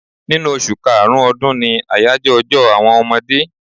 Ninu oṣù karùn-ún ọdún ni àyájọ́ ọjọ́ àwọn ọmọdé.